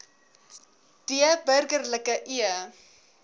d burgerlike e